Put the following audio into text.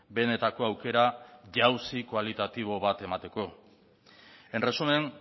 benetako aukera jauzi kualitatibo bat emateko en resumen